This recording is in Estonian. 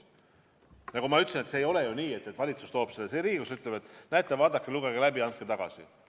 Nagu ma ütlesin, see ei ole ju nii, et valitsus toob selle siia Riigikogusse ja ütleb, et näete, vaadake, lugege läbi ja andke tagasi.